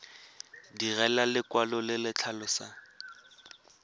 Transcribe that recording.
direlwa lekwalo le le tlhalosang